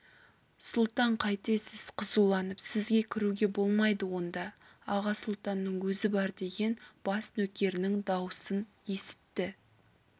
сұлтан қайтесіз қызуланып сізге кіруге болмайды онда аға сұлтанның өзі бар деген бас нөкерінің даусын есітті